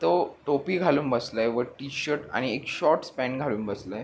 तो टोपी घालून बसलाय व टी-शर्ट आणि एक शॉर्टस् पॅन्ट घालून बसलाय.